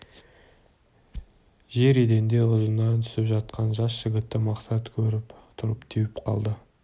жер еденде ұзынынан түсіп жатқан жас жігітті мақсат керіліп тұрып теуіп қалды